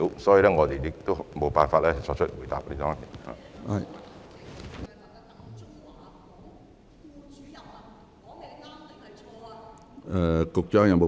所以，我無法作出回答。